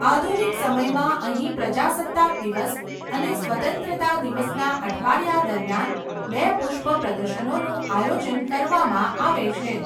આધુનિક સમયમાં અહીં પ્રજાસત્તાક દિવસ અને સ્વતંત્રતા દિવસના અઠવાડિયા દરમિયાન બે પુષ્પ પ્રદર્શનોનું આયોજન કરવામાં આવે છે.